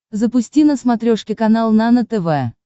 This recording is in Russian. запусти на смотрешке канал нано тв